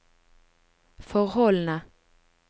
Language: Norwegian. forholdene